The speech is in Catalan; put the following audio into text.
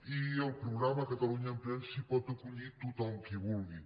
i al programa catalunya emprèn s’hi pot acollir tothom qui vulgui